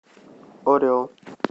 орел